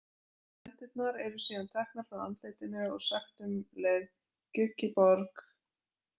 Hendurnar eru síðan teknar frá andlitinu og sagt um leið gjugg í borg.